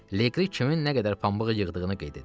Leqri kimin nə qədər pambıq yığdığını qeyd edirdi.